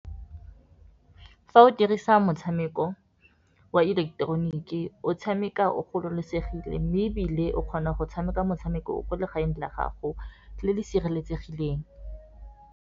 Fa o dirisa motshameko wa ileketeroniki o tshameka o gololosegile, mme ebile o kgona go tshameka motshameko o ko legaeng la gago le le sireletsegileng.